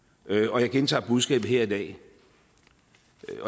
og jeg gentager budskabet her i dag